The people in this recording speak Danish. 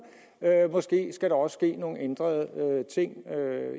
måske skal der også ske nogle ændringer